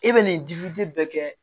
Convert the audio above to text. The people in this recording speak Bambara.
E bɛ nin bɛɛ kɛ